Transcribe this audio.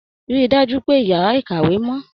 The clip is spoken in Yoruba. Rí i dájú pé ìyàrá- ìkàwé mọ́.